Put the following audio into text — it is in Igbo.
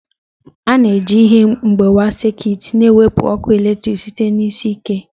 A na-eji ihe mgbawa sekit na-ewepụ ọkụ eletrik site na isi iyi ike.